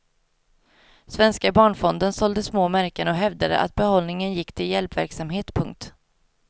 Svenska barnfonden sålde små märken och hävdade att behållningen gick till hjälpverksamhet. punkt